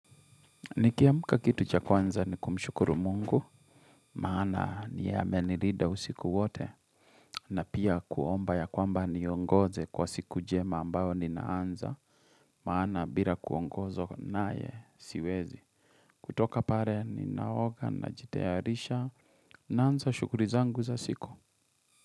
Nikiamka kitu cha kwanza ni kumshukuru mungu, maana ni yeye amenirida usiku wote na pia kuomba ya kwambaa niongoze kwa siku jema ambayo ninaanza, maana bila kuongozo naye siwezi. Kutoka pare ni naoga na jitayarisha naanza shughuli zangu za siku.